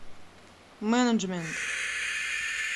менеджмент